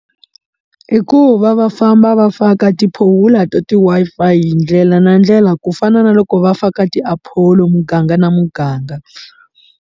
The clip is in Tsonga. Ibku va va famba va faka ti phofula to ti Wi-Fi hi ndlela na ndlela ku fana na loko va faka ti apolo muganga na muganga.